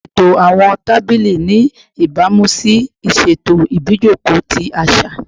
Ṣeto awọn tabili ni ibamu si iṣeto ibijoko ti aṣa